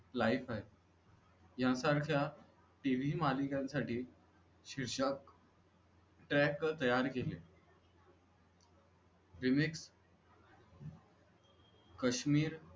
likewise या सारख्या TV मालिकांसाठी शीर्षक tag तयार केले विवेक काश्मीर